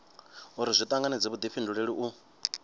uri zwi tanganedze vhudifhinduleli u